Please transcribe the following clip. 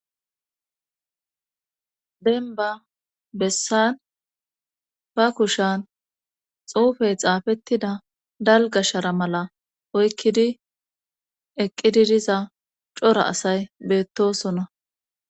Denba bessan ba kushan xuufey xaafettida dalga shara mala oykkidi eqqididiza cora asay beettosona.